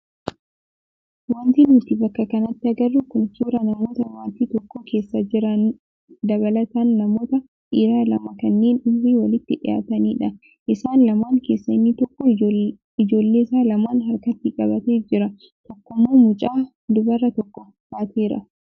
Wanti nuti bakka kanatti agarru kun suuraa namoota maatii tokko keessa jiran dabalataan namoota dhiiraa lama kanneen umriin walitti dhiyaatanidha. Isaan lamaan keessaa inni tokko ijoolleesaa lamaan harkatti qabatee jira tokkommoo mucaa dubaraa tokko baateera.